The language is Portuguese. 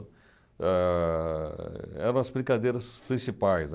Ãh eram as brincadeiras principais, né